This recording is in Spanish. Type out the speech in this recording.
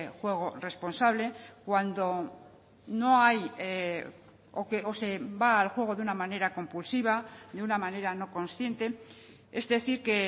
juego responsable cuando no hay o se va al juego de una manera compulsiva de una manera no consciente es decir que